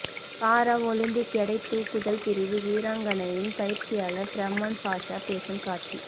பாரா Olympic எடை தூக்குதல் பிரிவு வீராங்கனையின் பயிற்சியாளர் ஃபார்மன் பாஷா பேசும் காட்சி